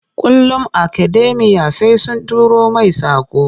Kullum akademiya sai sun turo main saƙo.